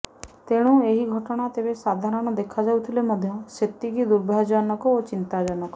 ତେଣୁ ଏହି ଘଟଣା ତେବେ ସାଧାରଣ ଦେଖାଯାଉଥିଲେ ମଧ୍ୟ ସେତିକି ଦୁର୍ଭାଗ୍ୟଜନକ ଓ ଚିନ୍ତାଜନକ